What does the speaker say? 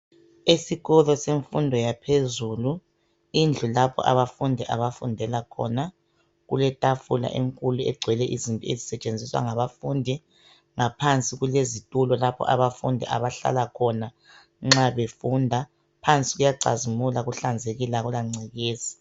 Isikolo semfundo yaphezulu indlu lapho abafundi abafundela khona. Kuletafula enkulu egcwele izinto ezisetshenziswa ngabafundi ngaphansi kulezitulo lapho abafundi abahlala khona nxa befunda. Phansi kuyacazimula kuhlanzekile akulangcekeza.